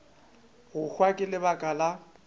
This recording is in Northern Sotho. go hwa ka lebaka la